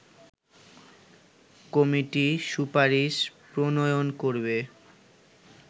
committee সুপারিশ প্রণয়ন করবে